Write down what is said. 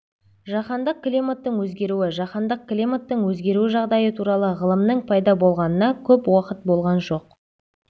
жаһандық климаттың өзгеруі жаһандық климаттың өзгеру жағдайы туралы ғылымның пайда болғанына көп уақыт болған жоқ